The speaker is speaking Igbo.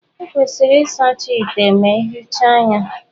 Ekwesịrị ịsacha ite ma ejicha ya.